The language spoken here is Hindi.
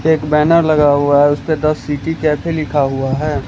एक बैनर लगा हुआ है उसपे द सिटी कैफे लिखा हुआ है।